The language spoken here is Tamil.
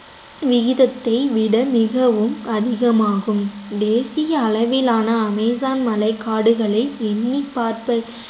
விகிதத்தை விட மிகவும் அதிகமாகும் தேசிய அளவிலான அமேசான் மலை காடுகளை எண்ணிப் பார்த்த